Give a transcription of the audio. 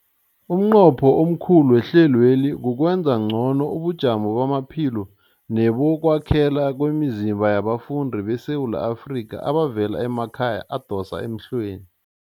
Umnqopho omkhulu wehlelweli kukwenza ngcono ubujamo bamaphilo nebokwakhela kwemizimba yabafundi beSewula Afrika abavela emakhaya adosa emhlweni.